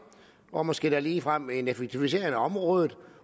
og måske ligefrem en effektivisering af området